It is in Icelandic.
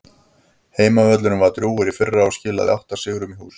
Heimavöllurinn var drjúgur í fyrra og skilaði átta sigrum í hús.